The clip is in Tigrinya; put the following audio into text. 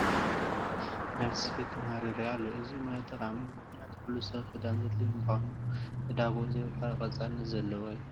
ናይ ልብሲ ስፌት ተመሃሮ ይርአዩ ኣለዉ፡፡ እዚ ሞያ ጠቓሚ እዩ፡፡ ምኽንያቱም ኩሉ ሰብ ክዳን ዘደልዮ ብምዃኑ ዕዳግኡ ዘየቋርፅ ቀፃልነት ዘለዎ እዩ፡፡